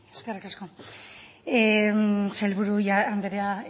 eskerrik asko sailburu anderea